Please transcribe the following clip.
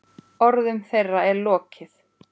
Orðum þeirra er lokið.